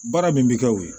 Baara min bi kɛ o ye